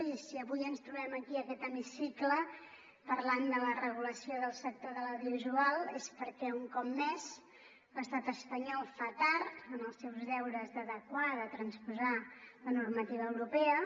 i si avui ens trobem aquí en aquest hemicicle parlant de la re·gulació del sector de l’audiovisual és perquè un cop més l’estat espanyol fa tard en els seus deures d’adequar de transposar la normativa europea